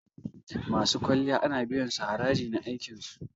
Masu kwalliya ana biyan su haraji na aikin su.